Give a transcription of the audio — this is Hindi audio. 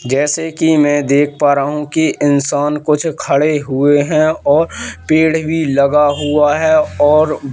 जैसे कि मैं देख पा रहा हूं कि इंसान कुछ खड़े हुए हैं और पेड़ भी लगा हुआ है और--